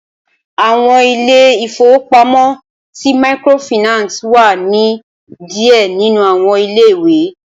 Awọn ilé ìfowópamọ́ sì Microfinance wá ni díẹ̀ nínú àwọn ilé-ìwé